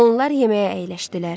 Onlar yeməyə əyləşdilər.